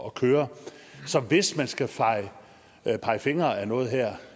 at køre så hvis man skal pege fingre ad noget her